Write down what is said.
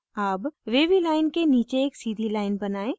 अब wavy line के नीचे एक सीधी line बनाएं